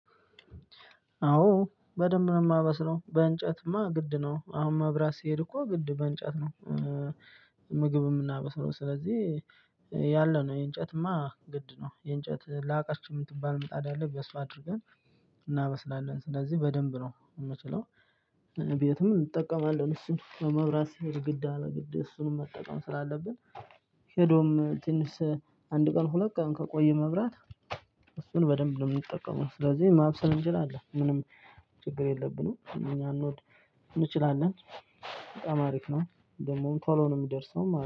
አዎ በደንብ ነው እማበስለው በእንጨትማ ግድ ነው አሁን መብራት ሲሄድ እኮ ግድ በእንጨት ነው። ምግብ እምናበስለው ስለዚህ ያለነው የእንጨትማ ግድ ነው የእንጨት ላቀች እምትባል ምጣድ አለች በሱ አድርገን እናበስላለን ስለዚህ በደንብ ነው ምችለው። ቤትም እጠቀማለን እሱን መብራት ሲሄድ ግድ አለ ግድ እሱንም መጠቀም ስላለብን። ሄዶም ትንሽ አንድ ቀን ሁለት ቀን ከቆየ መብራት እሱን በደንብ ነው ምንጠቀመው። ስለዚህ ማብሰል እንችላለን ምንም ችግር የለብንም። እኛ እንወድ እንችላለን በጣም አሪፍ ነው። ደግሞ ቶሎ ነው የሚደርሰው